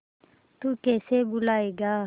तू कैसे भूलाएगा